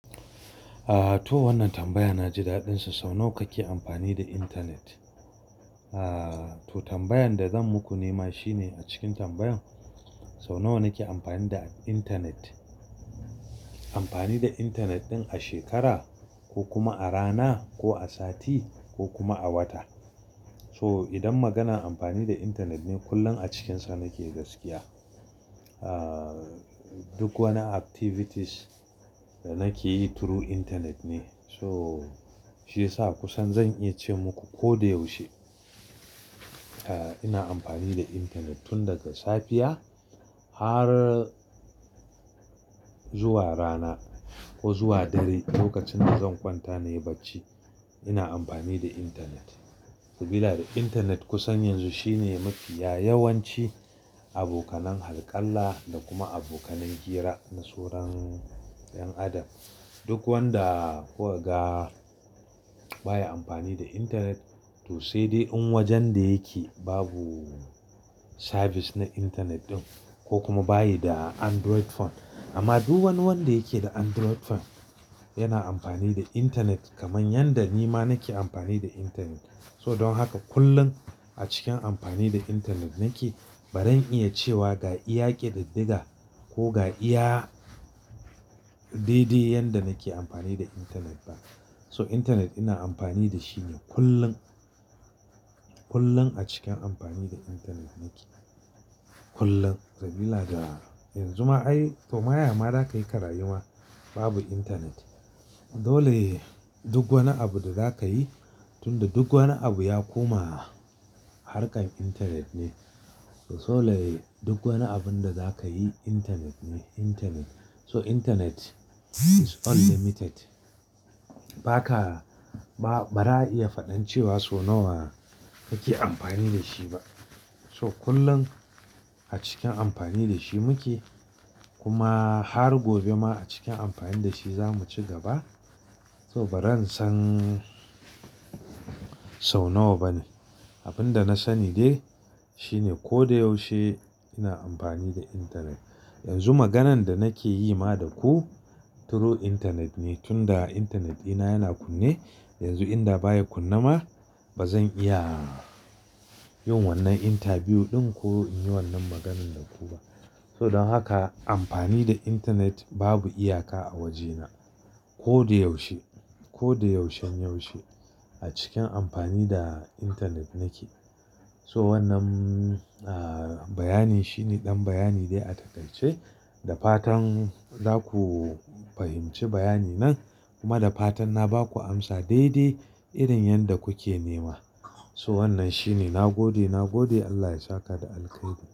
Aaa, to wannan tambaya na ji daɗin sa. Sau nawa kake amfani da intanet? Aaa, to tambayan da zan muku nima shine a cikin tambayan sau nawa nake amfani da intanet. Amfani da intanet ɗin a shekara ko kuma a rana ko a sati ko kuma a wata. So idan maganan amfani da intanet ne kullum a cikinsa nake gaskiya. Aaa, duk wani activities da nake yi through intanet ne. So shi yasa kusan zan iya ce muku ko da yaushe, eh ina amfani da intanet. Tun daga safiya har zuwa rana ko zuwa dare lokacin da zan kwanta nayi bacci ina amfani da intanet. Sabila da intanet kusan yanzu shine mafiya yawanci abokanan halkalla da kuma abokanan hira na soron 'yan adam. Duk wanda ko ga baya amfani da intanet to sai dai in wajen da yake babu service na intanet ɗin ko kuma bayi da Android phone. Amma duk wani wanda yake da Android phone yana amfani da intanet kamar yadda nima nake amfani da intanet. So don haka kullum a cikin amfani da intanet nake. Baran iya cewa ga iya ƙididdiga ko ga iya daidai yadda nake amfani da intanet ba. So intanet ina amfani da shi ne kullum. Kullum a cikin amfani da intanet nake, kullum. Sabila da yanzu ma ai to ma yama za ka yi ka rayu ma babu intanet. Dole duk wani abu da za ka yi tunda duk wani abu ya koma harkar intanet ne. To solai duk wani abun da za ka yi intanet ne, intanet. So intanet is unlimited. Ba ka, ba, ba za a iya faɗan cewa so nawa kake amfani da shi ba. So kullum a cikin amfani da shi muke kuma har gobe ma a cikin amfani da shi zamu ci gaba. To baran san sau nawa bane. Abin da na sani dai shine ko da yaushe ina amfani da intanet. Yanzu maganan da nake yi ma da ku through intanet ne. Tunda intanet dina yana kunne. Yanzu in da baya kunna ma ba zan iya yin wannan interview ɗin ko in yi wannan maganan da ku ba. So don haka amfani da intanet babu iyaka a wajena. Ko da yaushe, ko da yaushen yaushe a cikin amfani da intanet nake. So wannan, ahhh, bayani shine ɗan bayani dai a takaice. Da fatan za ku fahimci bayani nan kuma da fatan na ba ku amsa daidai irin yadda kuke nema. So wannan shi ne. Na gode, na gode Allah ya saka da alkhairi.